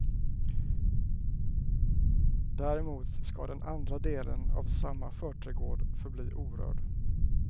Däremot ska den andra delen av samma förträdgård förbli orörd.